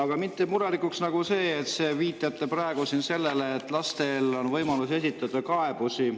Aga mind teeb murelikuks see, et te viitate siin praegu sellele, et lastel on võimalus esitada kaebusi.